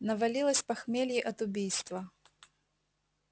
навалилось похмелье от убийства